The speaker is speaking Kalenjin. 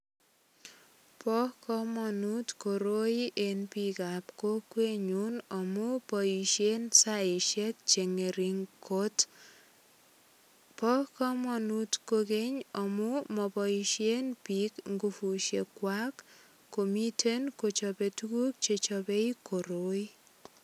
Bo kamanut koroi en biikab kokwenyun amun boisien saisiek che ngering kot. Bo kamanut kogeny amun maboisien biik ngupusiek kwak komiten kochope tuguk che chope koroi.